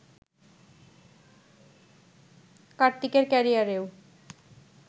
কার্তিকের ক্যারিয়ারেও